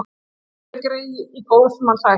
Oft er grey í góðs manns ætt.